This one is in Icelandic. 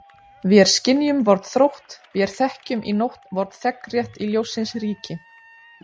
Vér skynjum vorn þrótt, vér þekkjum í nótt vorn þegnrétt í ljóssins ríki.